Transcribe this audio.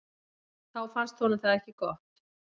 Þá fannst honum það ekki gott.